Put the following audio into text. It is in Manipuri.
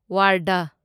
ꯋꯥꯔꯙꯥ